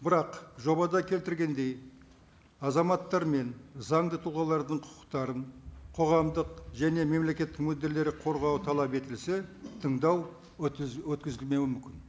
бірақ жобада келтіргендей азаматтар мен заңды тұлғалардың құқықтарын қоғамдық және мемлекет мүдделері қорғауы талап етілсе тыңдау өткізілмеуі мүмкін